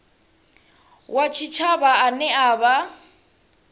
wa tshitshavha ane a vha